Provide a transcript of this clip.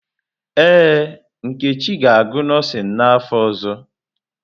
Ee, Nkechi ga-agụ nọọsịn n’afọ ọzọ.